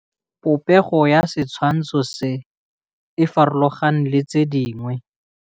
Popêgo ya setshwantshô se, e farologane le tse dingwe.